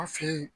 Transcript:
An fe yen